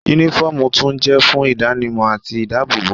Únífọ́ọ̀mù tún jẹ́ fún ìdánimọ̀ àti ìdábòòbò